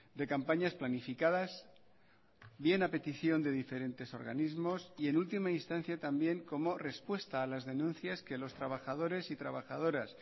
de campañas planificadas bien a petición de diferentes organismos y en última instancia también como respuesta a las denuncias que los trabajadores y trabajadoras